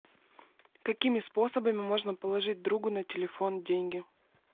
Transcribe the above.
какими способами можно положить другу на телефон деньги